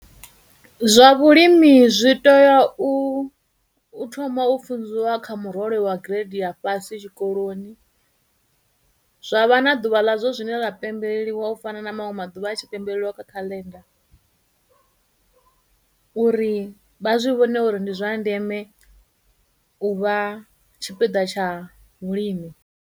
Zwa vhulimi zwi teya u, u thoma u funziwa kha murole wa grade ya fhasi tshikoloni, zwa vha na ḓuvha ḽa zwo zwine ḽa pembeleliwa u fana na maṅwe maḓuvha a tshi pembeleliwa kha calendar uri vha zwi vhone uri ndi zwa ndeme u vha tshipiḓa tsha vhulimi.